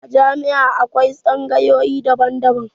A jami'a akwai tsangayoyi daban-daban.